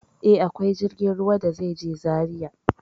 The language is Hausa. E, akwai jirgin ruwa da zai je Zaria.